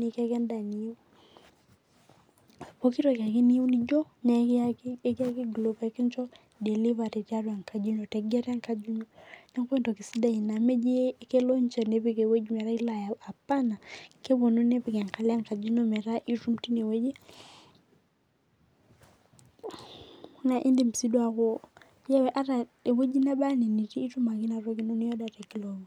nikiyaki en'daa ino Pookitoki ake niyieu nijo nekiyaki glovo peekino delivery tiatua enkaji ino Niaku entoki sidai ina meeji kelo ninje nepik ewuei metaa ailo ayau apana, kepuonu nepik enkalo enkaji ino metaa itum tineweji naa in'dim sii duo aaku ata ewueji naba ena nitii naa kituma ake inatoki